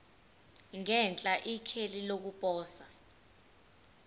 ngenhla ikheli lokuposa